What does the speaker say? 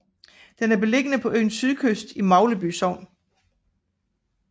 Den er beliggende på øens sydkyst i Magleby Sogn